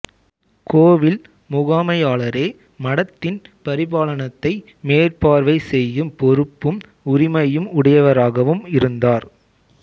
கோவில் முகாமையாளரே மடத்தின் பரிபாலனத்தை மேற்பார்வை செய்யும் பொறுப்பும் உரிமையும் உடையவராகவும் இருந்தார்